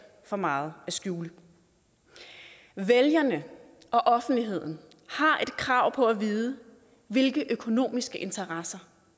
for meget at skjule vælgerne og offentligheden har krav på at vide hvilke økonomiske interesser